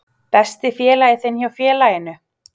Besti félagi þinn hjá félaginu?